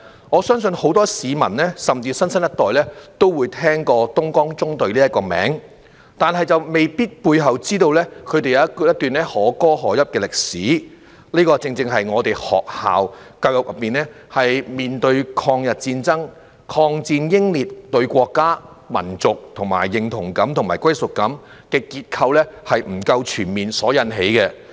我相信很多市民，甚至新生一代都會聽過"東江縱隊"這個名字，但未必知道背後他們一段可歌可泣的歷史，這正正是學校教育中，對抗日戰爭、抗戰英烈，以及對國家、民族的認同感與歸屬感的結構不夠全面所致。